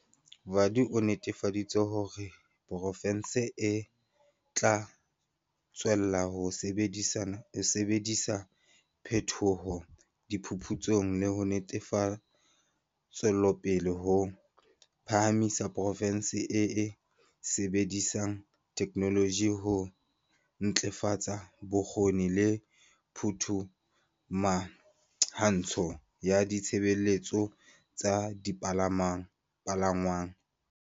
Vadi o netefaditse hore poro fense e tla tswella ho sebedisa phethoho, diphuphutso le ntshetsopele ho phahamisa porofense e e sebedisang theke noloji ho ntlafatsa bokgoni le phumahantsho ya ditshebeletso tsa dipalangwang.